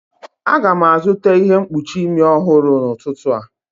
Aga m azụta ihe mkpuchi imi ọhụrụ n'ụtụtụ a